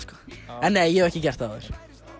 en nei ég hef ekki gert það áður